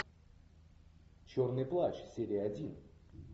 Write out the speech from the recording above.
черный плащ серия один